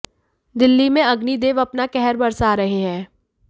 दिल्ली में अग्नि देव अपना कहर बरसा रहे हैं